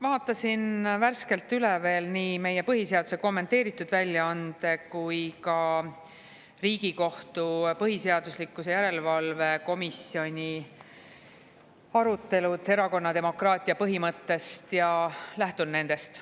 Vaatasin värskelt üle nii meie põhiseaduse kommenteeritud väljaande kui ka Riigikohtu põhiseaduslikkuse järelevalve komisjoni arutelud erakonnademokraatia põhimõtte üle ja lähtun nendest.